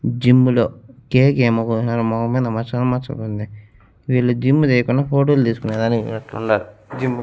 Gym లో cake ఏమో కోస్నారు మొహం మింద మచ్చలు మచ్చలుంది వీళ్ళు జిమ్ము చేయకుండా ఫోటోలు తీసుకునే దానికి పోయినట్టుండారు జిమ్ము .